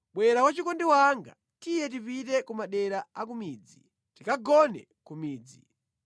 Bwera wachikondi wanga, tiye tipite ku madera a ku midzi, tikagone ku midzi.